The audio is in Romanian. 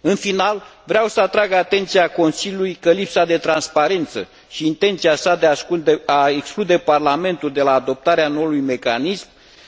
În final, vreau să atrag atenția Consiliului că lipsa de transparență și intenția sa de a exclude Parlamentul de la adoptarea noului mecanism